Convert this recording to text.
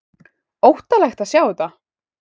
Óttalegt að sjá þetta!